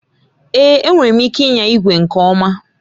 Èé! Enwere m ike ịnya igwe nke ọma